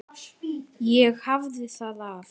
Ég hafði það af.